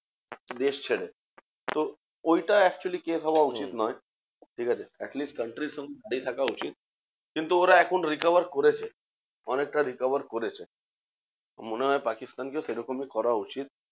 দেশ ছেড়ে। তো ঐটাই actually case হওয়া উচিত নয়, ঠিকাছে? atleast country সঙ্গে লেগে থাকা উচিত। কিন্তু ওরা এখন recover করেছে অনেকটা recover করেছে। মনে হয় পাকিস্তানকেও সেরকমই করা উচিত।